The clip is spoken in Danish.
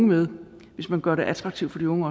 med hvis man gør det attraktivt for de unge